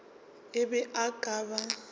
e be e ka ba